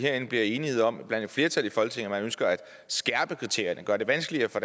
bliver enighed om blandt et flertal i folketinget at man ønsker at skærpe kriterierne gøre det vanskeligere at få